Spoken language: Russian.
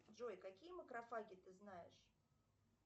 джой какие макрофаги ты знаешь